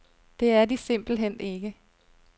Det er de simpelthen ikke.